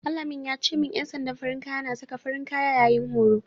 Al-amin ya ce min ƴan sandan farin kaya na saka farin kaya yayin horo.